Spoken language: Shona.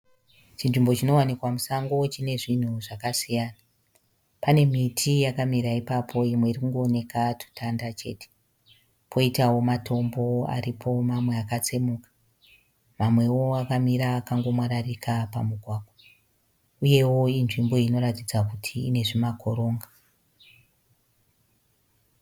Chinzvimbo chinowanikwa musango chine zvinhu zvakasiyana, pane miti yakamira ipapo imwe iri kungooneka tutanda chete, poitawo matombo aripo mamwe akatsemuka mamwewo akamira akango mwararika pamugwagwa uyewo inzvimbo inoratidza kuti ine zvimakoronga.